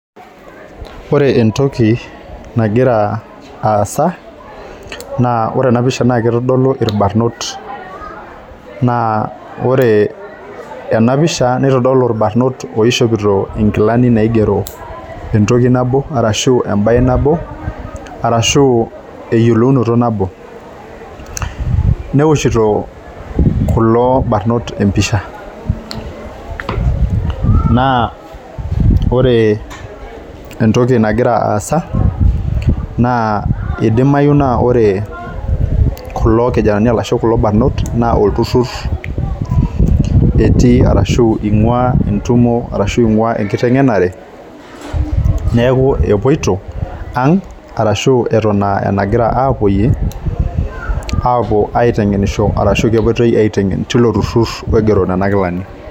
Ore entoki nagira aasa naa ore enapisha naa kitodolu irbarnot naa ore enapisha nitodolu irbarnot oishopito inkilani naigero entoki nabo arashu embaye nabo arashu eyiolounoto nabo neoshito kulo barnot empisha naa ore entoki nagira aasa naa idimayu naa ore kulo kijanani arashu kulo barnot naa olturrur etii arashu ing'ua entumo arashu ing'ua entumo arashu ing'ua enkiteng'enare neku epuoito ang arashu eton aa enagira apuopyie apuo aiteng'enisho arashu kepuoitoi aiteng'en teilo turrur oigero nena kilani.